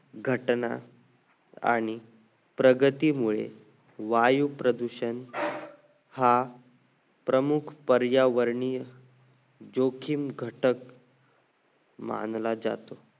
घटना आणि प्रगतीमुळे वायू प्रदूषण हा प्रमुख पर्यावरणीय जोखीम घटक मानला जातो